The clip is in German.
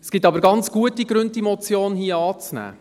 Es gibt aber ganz gute Gründe, diese Motion anzunehmen.